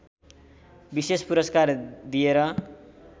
विशेष पुरस्कार दिएर